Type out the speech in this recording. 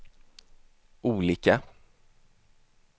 olika